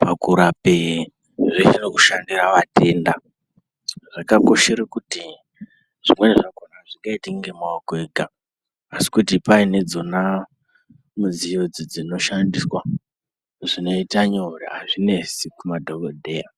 pakurape zvenge zvirikushatira vatenda zvakakoshere kuti zvimweni zvakona azvingaitiki ngemaoko ega asi kuti paine dzona mudziyo dzinoshandiswa zvinoita nyore azvinesi kumadhokodheya.